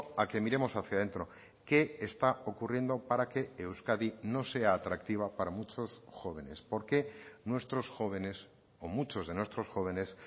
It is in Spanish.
a que miremos hacia dentro qué está ocurriendo para que euskadi no sea atractiva para muchos jóvenes por qué nuestros jóvenes o muchos de nuestros jóvenes